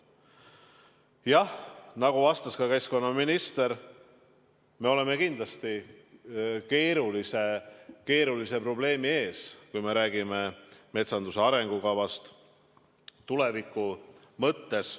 Jah, nagu vastas ka keskkonnaminister, me oleme kindlasti keerulise probleemi ees, kui räägime metsanduse arengukavast tuleviku mõttes.